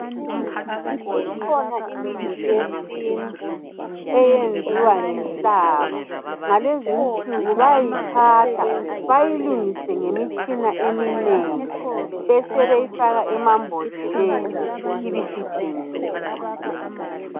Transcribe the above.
Ikhona imithi yesintu eyenziwa ngenhlaba ngalezi insuku bayayithatha bayilungise ngemitshina eminengi besebeyifaka emambodleleni ibisithengiswa.